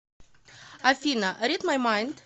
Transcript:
афина рид май майнд